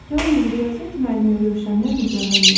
Yalnız riyaziyyat müəllimi Rövşəndən nigaran idi.